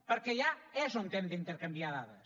perquè allà és on hem d’intercanviar dades